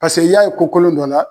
Paseke i y'a ye ko kolon dɔ la.